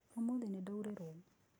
Ũmũthĩ nĩndaurĩrwo.